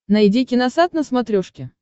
найди киносат на смотрешке